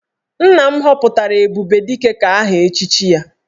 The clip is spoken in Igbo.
Nna m họpụtara 'Ebubedike' ka aha echichi ya